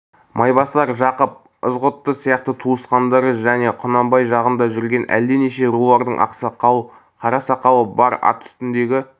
майбасар жақып ызғұтты сияқты туысқандары және құнанбай жағында жүрген әлденеше рулардың ақсақал қара сақалы бар ат үстіндегі